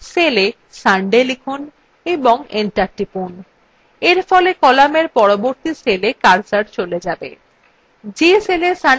cella sunday লিখুন এবং enter টিপুন এরফলে কলামের পরবর্তী cella কার্সর cell যাবে